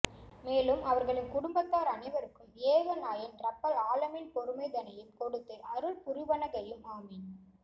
மேலும் அவர்களின் குடும்பத்தார் அனைவருக்கும் ஏக நாயன் ரப்பல் ஆலமீன் பொறுமை தனையும் கொடுத்து அருள் புரிவனகயும் ஆமீன்